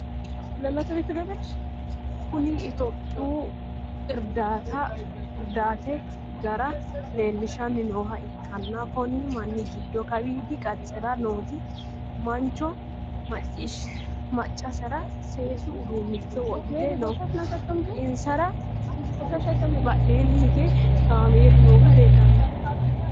Kunni itophiyu udirate gara leelishanni nooha ikanna konni manni gido kawiidi qacera nooti mancho macasera seesu uduunicho wodhite no. Insara badheenni hige kaameelu noohu leelano.